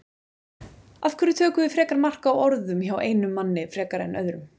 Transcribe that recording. Af hverju tökum við frekar mark á orðum hjá einum manni frekar en öðrum?